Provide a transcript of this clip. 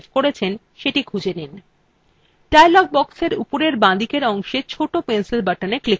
এখন dialog boxএর উপরের বাঁদিকের অংশের ছোট pencil buttonএ click করুন